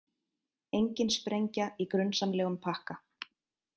Engin sprengja í grunsamlegum pakka